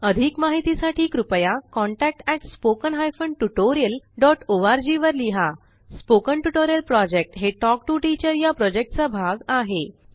अधिक माहितीसाठी कृपया contact at spoken hyphen tutorial dot ORG वर लिहा स्पोकन ट्युटोरियल प्रॉजेक्ट हे टॉक टू टीचर या प्रॉजेक्टचा भाग आहे